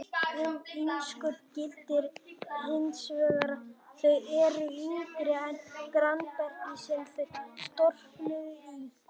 Um innskot gildir hins vegar að þau eru yngri en grannbergið sem þau storknuðu í.